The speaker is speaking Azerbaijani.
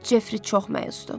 Cefri çox məyusdur.